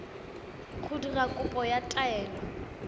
go dira kopo ya taelo